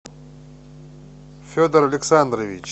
федор александрович